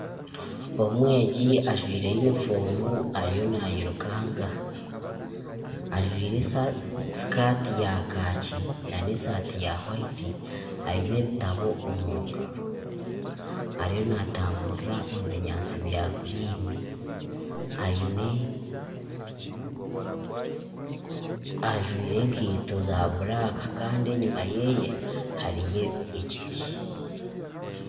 Omwegi ajwire yunifoomu ariyo naayirukanga ajwire sikaati ya kaaki nana esaati ya hwayiti, aine ebitabo omu ngaro, ariyo naatamburira omu binyaatsi bya guriini, ajwire enkaito za buraaka kandi enyima ye hariyo ekiti